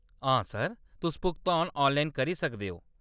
हां सर, तुस भुगतान ऑनलाइन करी सकदे ओ।